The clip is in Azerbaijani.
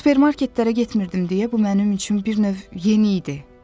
Supermarketlərə getmirdim deyə bu mənim üçün bir növ yeni idi.